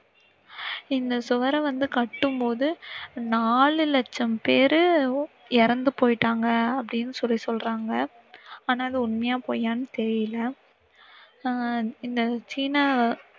இந்த சுவரை வந்து கட்டும் போது நாலு லட்சம் பேர் இறந்து போய்ட்டாங்க. அப்படினு சிலர் சொல்றங்க. ஆனா அது உண்மையா பொய்யான்னு தெரியல.